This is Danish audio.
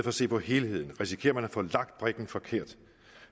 at se på helheden risikerer man at få lagt brikken forkert